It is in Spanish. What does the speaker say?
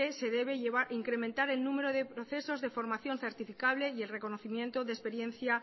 se debe incrementar el número de procesos de formación certificable y el reconocimiento de experiencia